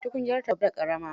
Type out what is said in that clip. Tukunyarta babba da ƙarama.